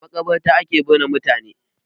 A maƙabarta ake binne mutane.